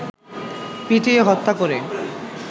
পিটিয়ে হত্যা করে